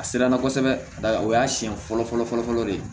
A siranna kosɛbɛ a y'a siɲɛ fɔlɔ fɔlɔ de